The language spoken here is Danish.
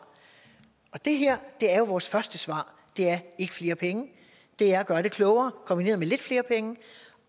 det her er jo vores første svar det er at gøre det klogere kombineret med lidt flere penge